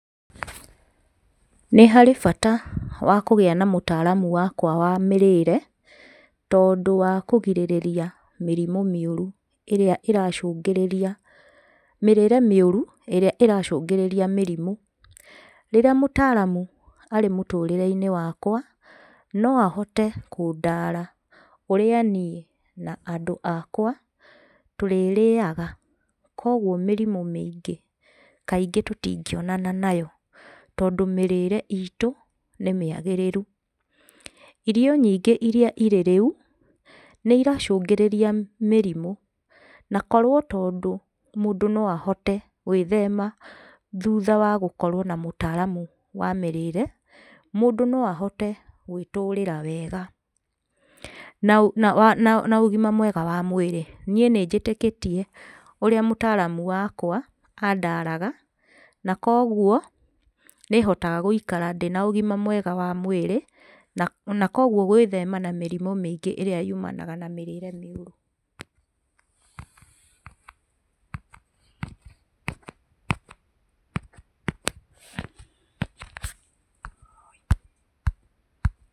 Nĩharĩ bata wa kũgĩa na mũtaaramu wakwa wa mĩrĩĩre tondũ wa kũgirĩrĩria mĩrimũ mĩũru ĩrĩa ĩracũngĩrĩria, mĩrĩre mĩũru ĩrĩa ĩracũngĩrĩria mĩrimũ. Rĩrĩa mũtaaramu arĩ mũtũrĩre-inĩ wakwa, no ahote kũndaara ũrĩa niĩ na andũ akwa tũrĩrĩaga, koguo mĩrimũ mĩingĩ kaingĩ tũtingĩonana nayo tondũ mĩrĩre itũ nĩ mĩagĩrĩru. Irio nyingĩ iria irĩ rĩu, nĩiracũngĩrĩria mĩrimũ, na korwo tondũ mũndũ no ahote gwĩthema thuutha wa gũkorwo na mũtaaramu wa mĩrĩre, mũndũ no ahote gwĩtũrĩra wega na, na, na, naũgima mwega wa mwĩrĩ. Niĩ nĩnjĩtĩkĩtie ũrĩa mũtaaramu wakwa andaraga, na koguo nĩhotaga gũikara ndĩna ũgima mwega wa mwĩrĩ, na, na koguo gwĩthema na mĩrimũ mĩingĩ ĩrĩa yumanaga na mĩrĩre mĩũru pause.